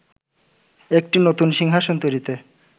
একটি নতুন সিংহাসন তৈরিতে